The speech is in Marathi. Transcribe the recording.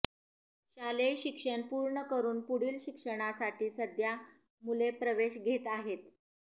शालेय शिक्षण पूर्ण करून पुढील शिक्षणासाठी सध्या मुले प्रवेश घेत आहेत